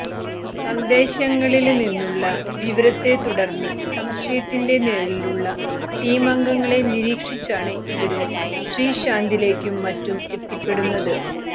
സന്ദേശങ്ങളില് നിന്നുള്ള വിവരത്തെത്തുടര്ന്ന് സംശയത്തിന്റെ നിഴലിലുള്ള ടീമംഗങ്ങളെ നിരീക്ഷിച്ചാണ് ഇവര് ശ്രീശാന്തിലേക്കും മറ്റും എത്തിപ്പെടുന്നത്